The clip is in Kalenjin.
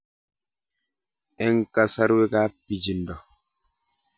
Eng' kasarwek ab pichiindo